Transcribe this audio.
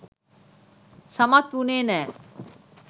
සමත් වුණේ නෑ.